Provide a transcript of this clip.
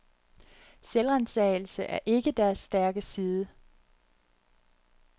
Selvransagelse er ikke deres stærke side.